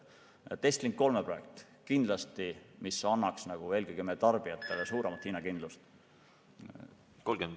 Estlink 3 projekt – kindlasti annaks see eelkõige meie tarbijatele suuremat hinnakindlust.